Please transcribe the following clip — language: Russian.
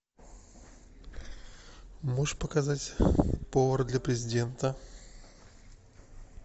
можешь показать повар для президента